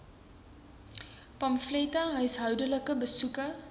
pamflette huishoudelike besoeke